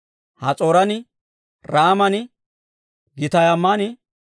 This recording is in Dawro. Has'ooran, Raaman, Gittayman,